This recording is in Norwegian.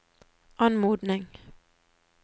anmodning